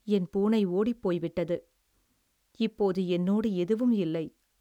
என் பூனை ஓடிப்போய்விட்டது, இப்போது என்னோடு எதுவும் இல்லை.